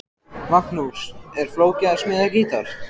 Magnús: Er flókið að smíða gítar?